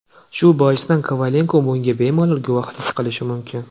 Shu boisdan Kovalenko bunga bemalol guvohlik qilishi mumkin.